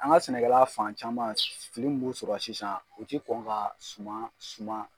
An ka sɛnɛkɛlan fan caman fili mun b'u sɔrɔ sisan u ti kɔn ka suman suman